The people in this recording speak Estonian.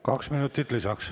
Kaks minutit lisaks.